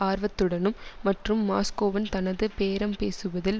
ஆர்வத்துடனும் மற்றும் மாஸ்கோவுன் தனது பேரம்பேசுவதில்